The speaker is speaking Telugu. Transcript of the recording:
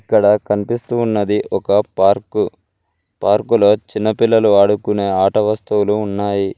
ఇక్కడ కనిపిస్తూ ఉన్నది ఒక పార్కు పార్కులో చిన్న పిల్లలు ఆడుకునే ఆట వస్తువులు ఉన్నాయి.